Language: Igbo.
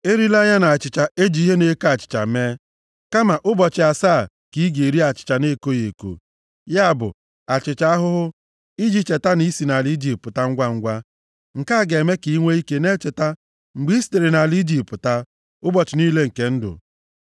Erila ya na achịcha e ji ihe na-eko achịcha mee, kama ụbọchị asaa ka ị ga-eri achịcha na-ekoghị eko, ya bụ, achịcha ahụhụ, iji cheta na i si nʼala Ijipt pụta ngwangwa. Nke a ga-eme ka i nwee ike na-echeta mgbe i sitere nʼala Ijipt pụta, ụbọchị niile nke ndụ.